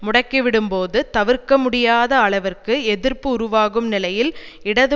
முடக்கிவிடும்போது தவிர்க்க முடியாத அளவிற்கு எதிர்ப்பு உருவாகும் நிலையில் இடது